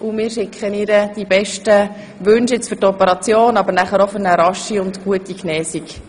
Wir schicken ihr die besten Wünsche für die Operation, aber auch für eine rasche und gute Genesung.